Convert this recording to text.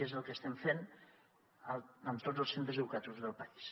i és el que estem fent en tots els centres educatius del país